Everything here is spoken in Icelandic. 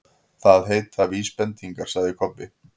Það heita VÍSbendingar, sagði Kobbi.